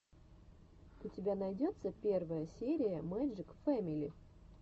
у тебя найдется первая серия мэджик фэмили